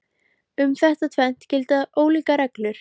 Um þetta tvennt gilda ólíkar reglur.